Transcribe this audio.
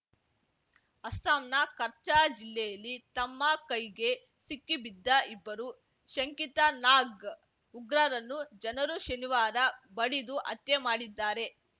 ಅಸ್ಸಾಂನ ಕಚ್ಚಾ ಜಿಲ್ಲೆಯಲ್ಲಿ ತಮ್ಮ ಕೈಗೆ ಸಿಕ್ಕಿ ಬಿದ್ದ ಇಬ್ಬರು ಶಂಕಿತ ನಾಗ್ ಉಗ್ರರನ್ನು ಜನರು ಶನಿವಾರ ಬಡಿದು ಹತ್ಯೆ ಮಾಡಿದ್ದಾರೆ